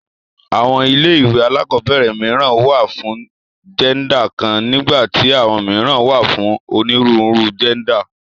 Àwọn ilé ìwé alákọ̀ọ́bẹ̀rẹ̀ mìíràn wà fún jẹ́ndà kan nígbà tí àwọn mìíràn wà fún onírúurú jẹ́ndà.